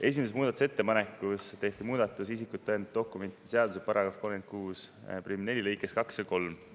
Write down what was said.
Esimeses muudatusettepanekus tehti ettepanek muuta isikut tõendavate dokumentide seaduse § 364 lõikeid 2 ja 3.